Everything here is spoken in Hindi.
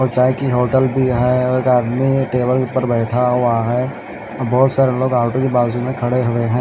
और चाहे कि होटल भी है और आदमी टेबल पर बैठा हुआ है बहोत सारे लोग आटो के बाजू में खड़े हुए हैं।